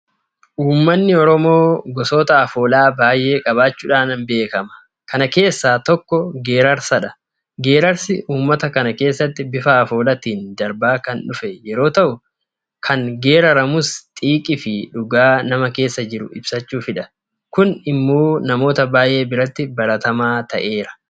Uummanni Oromoo gosoota afoolaa baay'ee qabaachuudhaan beekama. Kana keessaa tokko Geerrarsadha. Geerrarsi uummata kana keessatti bifa afoolaatiin darbaa kan dhufe yeroo ta'u; Kan geerraramus xiiqiifi dhugaa nama keessa jiru ibsachuufidha. Kun immoo namoota baay'ee biratti baratamaa ta'eera.